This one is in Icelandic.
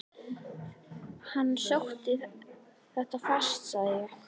Hann sótti þetta fast sagði ég.